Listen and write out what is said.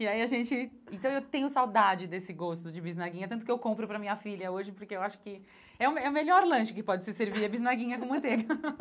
E aí a gente... Então, eu tenho saudade desse gosto de bisnaguinha, tanto que eu compro para a minha filha hoje, porque eu acho que é o me é o melhor lanche que pode se servir, é bisnaguinha com manteiga.